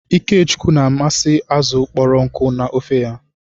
Ikechukwu na-amasị azụ kpọrọ nkụ na ofe ya.hu